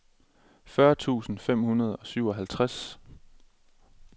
fyrre tusind fem hundrede og syvoghalvtreds